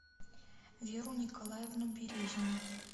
веру николаевну березину